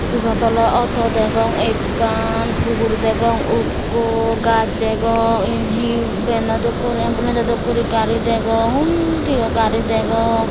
ibot oley auto degong ekkan hugur degong ukko gajch degong yen he vano dokke guri ambulanso dokkey guro gari degong undiyo gari degong.